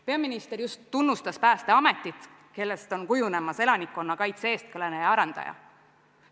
Peaminister just tunnustas päästeametit, kellest on kujunemas elanikkonna kaitse eestkõneleja ja arendaja.